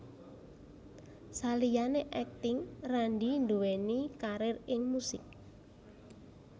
Saliyané akting Randy duwéni karir ing musik